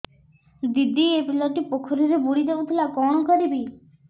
ଦିଦି ଏ ପିଲାଟି ପୋଖରୀରେ ବୁଡ଼ି ଯାଉଥିଲା କଣ କରିବି